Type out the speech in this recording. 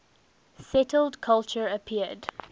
settled culture appeared